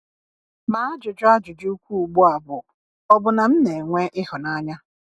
Ma ajụjụ ajụjụ ukwuu ugbu a bụ, ọ̀ bụ na m na-enwe ịhụnanya?